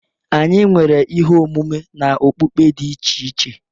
Anyi nwere ihe omume na okpukpe dị iche iche.